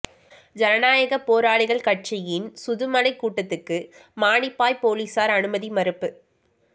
ஜனநாயகப் போராளிகள் கட்சியின் சுதுமலைக் கூட்டத்துக்கு மானிப்பாய்ப் பொலிசார் அனுமதி மறுப்பு